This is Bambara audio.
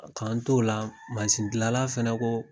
K'an to o la mazin gilala fɛnɛ kɔ